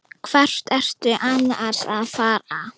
Hvert ertu annars að fara?